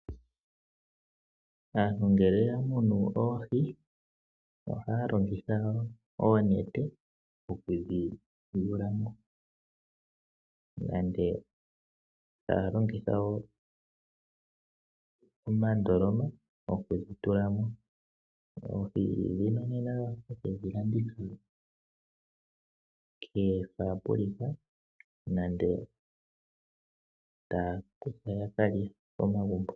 Aantu ngele yamunu oohi , ohaya longitha oonete okudhi yulamo nenge ohaya longitha omandoloma okudhi tulamo . Oohi ohadhi kalandithwa koofabulika nenge taya kutha yakalye komagumbo.